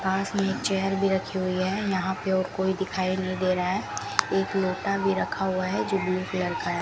पास में एक चेयर भी रखी हुई है यहां पे और कोई दिखाई नहीं दे रहा है एक लोटा भी रखा हुआ है जो ब्लू कलर का है।